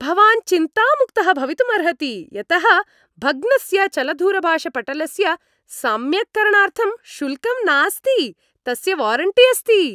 भवान् चिन्तामुक्तः भवितुम् अर्हति यतः भग्नस्य चलदूरभाषपटलस्य सम्यक्करणार्थं शुल्कं नास्ति। तस्य वारण्टी अस्ति।